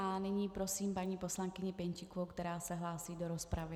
A nyní prosím paní poslankyni Pěnčíkovou, která se hlásí do rozpravy.